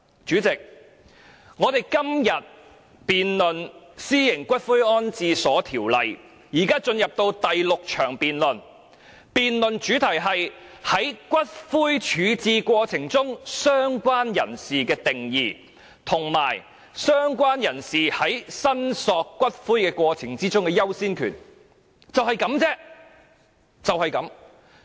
主席，我們今天辯論《私營骨灰安置所條例草案》，現已進入第六項辯論，辯論主題是在骨灰處置過程中，"相關人士"的定義，以及"相關人士"在申索骨灰過程中的優先權，只此而已。